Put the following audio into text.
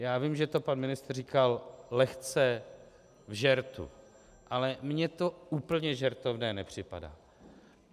Já vím, že to pan ministr říkal lehce v žertu, ale mně to úplně žertovné nepřipadá.